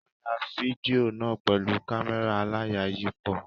Wọ́n ya fídíò náà pẹ̀lú kámẹ́rà aláyàyípo.